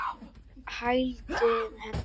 Hann hældi henni.